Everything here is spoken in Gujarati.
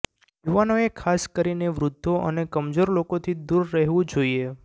યુવાનોએ ખાસ કરીને વૃદ્ધો અને કમજોર લોકોથી દૂર રહેવું જોઇએ